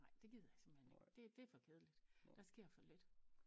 Nej det gider jeg simpelthen ikke det det for kedeligt der sker for lidt